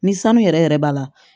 Ni sanu yɛrɛ yɛrɛ b'a la